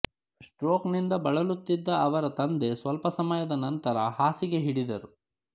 stroke ನಿಂದ ಬಳಲುತ್ತಿದ್ದ ಅವರ ತಂದೆ ಸ್ವಲ್ಪ ಸಮಯದ ನಂತರ ಹಾಸಿಗೆ ಹಿಡಿದರು